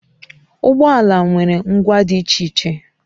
Ụgbọ ala nwere ngwa dị iche iche